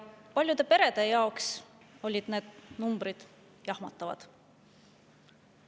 Paljude perede jaoks olid need numbrid jahmatavad.